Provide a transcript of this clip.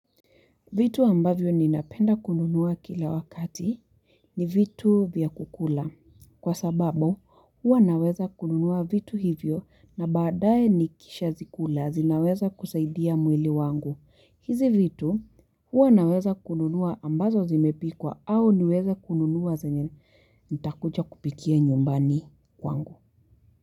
Vitu ambavyo ninapenda kununua kila wakati ni vitu vya kukula. Kwa sababu huwa naweza kununua vitu hivyo na badaye nikisha zikula zinaweza kusaidia mwili wangu. Hizi vitu huwa naweza kununua ambazo zimepikwa au niweza kununua zanyen intakuja kupikia nyumbani wangu.